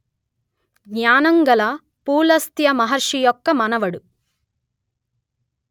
జ్ఞానంగల పులస్త్య మహర్షి యొక్క మనవడు